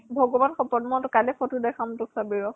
ভগবান শপত । মই তোক কাইলৈ photo দেখাম, তই চাবি ৰʼ ।